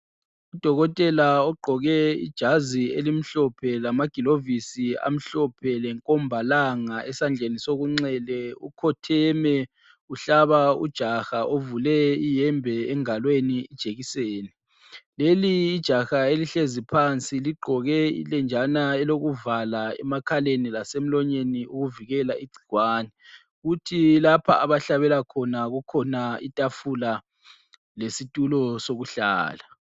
Udokotela ogqoke ijazi elimhlophe lamagilovisi amhlophe lenkombalanga esandleni sokunxele ukhotheme uhlaba ujaha ovule iyembe engalweni ijekiseni. Leli ijaha elihlezi phansi ligqoke ilenjana elokuvala emakhaleni lasemlonyeni ukuvikela igcikwane. Kuthi lapho abahlabela khona kukhona itafula lesitulo sokuhlala.